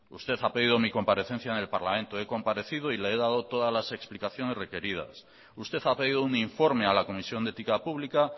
usted ha pedido mi comparecencia en el parlamento he comparecido y le he dado todas las explicaciones requeridas usted ha pedido un informe a la comisión de ética pública